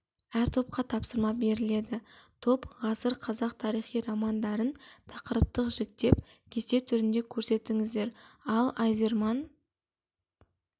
әр топқа тапсырма беріледі топ ғасыр қазақ тарихи романдарын тақырыптық жіктеп кесте түрінде көрсетіңіздер ал айзерман